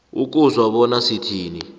ukuzwa bona sithini